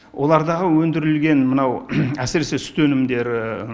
олардағы өндірілген мынау әсіресе сүт өнімдері